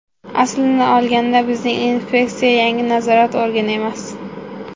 Aslini olganda bizning inspeksiya yangi nazorat organi emas.